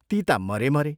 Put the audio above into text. ती ता मरे, मरे।